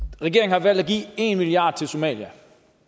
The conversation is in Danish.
regeringen har valgt at give en milliard kroner til somalia